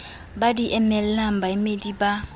ba di emelang baemedi ba